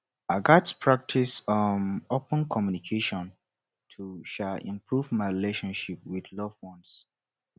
i gats practice um open communication to um improve my relationships with loved ones